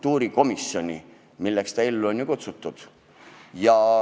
Selliste teemadega tegelemiseks ta ellu ju on kutsutud.